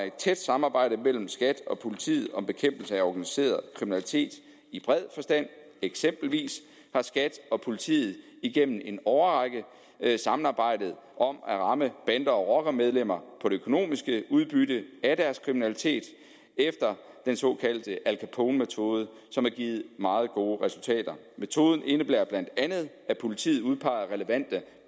et tæt samarbejde mellem skat og politiet om bekæmpelse af organiseret kriminalitet i bred forstand eksempelvis har skat og politiet igennem en årrække samarbejdet om at ramme bande og rockermedlemmer på det økonomiske udbytte af deres kriminalitet efter den såkaldte al capone metode som har givet meget gode resultater metoden indebærer bla at politiet udpeger relevante